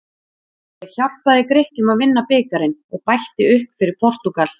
Ég hjálpaði Grikkjum að vinna bikarinn og bætti upp fyrir Portúgal.